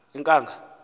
inkanga